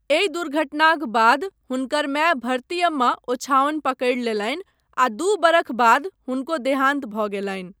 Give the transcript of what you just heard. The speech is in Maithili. एहि दुर्घटनाक बाद हुनकर माय भरतियम्मा ओछाओनि पकड़ि लेलनि आ दू बरख बाद हुनको देहान्त भऽ गेलनि।